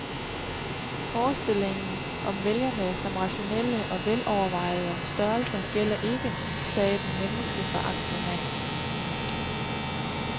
Forestillingen om vælgerne som rationelle og velovervejede størrelser gælder ikke, sagde den menneskeforagtende mand.